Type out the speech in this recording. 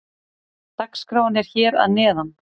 Dagskráin er hér að neðan.